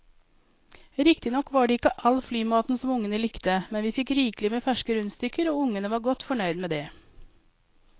Riktignok var det ikke all flymaten som ungene likte, men vi fikk rikelig med ferske rundstykker og ungene var godt fornøyd med det.